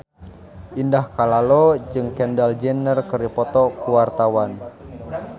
Indah Kalalo jeung Kendall Jenner keur dipoto ku wartawan